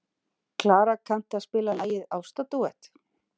Klara, kanntu að spila lagið „Ástardúett“?